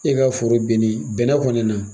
I ka foro beni bɛnɛ kɔɔna na